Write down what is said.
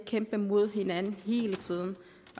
kæmper mod hinanden hele tiden